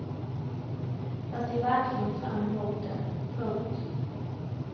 Jag ser verkligen fram emot det. punkt